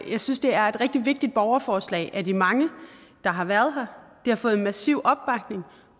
jeg synes det er et rigtig vigtigt borgerforslag af de mange der har været her det har fået massiv opbakning